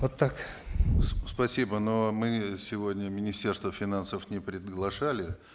вот так спасибо но мы сегодня министерство финансов не приглашали